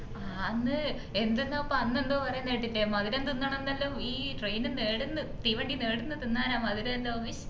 ആന്ന് എന്തെന്നപ്പ അന്ന് എന്തോ പറയുന്ന കേട്ടിട്ടില്ലേ മധുരം തിന്നണംന്ന് എല്ലാം ഈ train ന്ന് എടുന്നു തീവണ്ടി ന്ന് എടിന്ന് തിന്നാനാ മധുരം എല്ലും